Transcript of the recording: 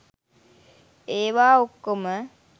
ඒවා ඔක්කොම